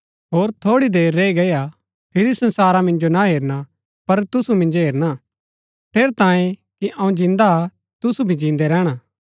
होर थोड़ी देर रैई गई हा फिरी संसारा मिन्जो ना हेरणा पर तुसु मिन्जो हेरणा ठेरैतांये कि अऊँ जिन्दा हा तुसु भी जिन्दै रैहणा